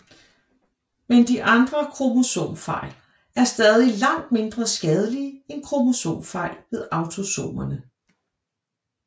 Men de andre kromosomfejl er stadig langt mindre skadelige end kromosomfejl ved autosomerne